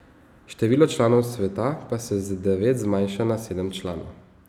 Število članov sveta pa se z devet zmanjša na sedem članov.